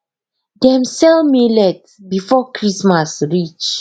dem sell millet before christmas reach